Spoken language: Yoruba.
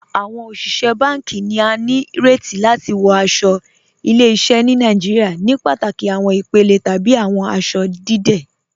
Awọn oṣiṣẹ̀ bánkì ni à ní rètì láti wọ̀ aṣọ̀ ìlẹ̀-ìṣẹ̀ ni Nàìjíríà ní pátákì awọn ìpèlè tàbí awọn aṣọ̀ dídẹ̀.